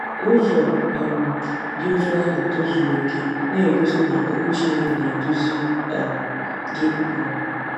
Ụzọ um dị otú ahụ tozuru okè na-egosi na Okwu Chineke na-eduzi um gị. um